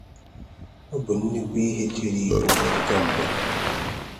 Ọ bụ́ nnukwu ihe chèéré Ìgbò àkà mgba.